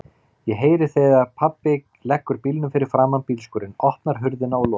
Ég heyri þegar pabbi leggur bílnum fyrir framan bílskúrinn, opnar hurðina og lokar.